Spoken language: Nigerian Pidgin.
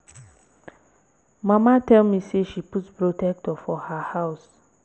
Mama tell me say she put protector for her her house